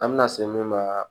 An bɛna se min ma